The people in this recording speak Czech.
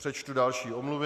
Přečtu další omluvy.